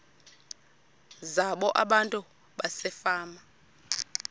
zabo abantu basefama